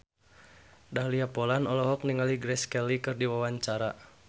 Dahlia Poland olohok ningali Grace Kelly keur diwawancara